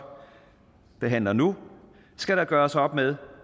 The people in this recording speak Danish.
behandler nu skal der gøres op med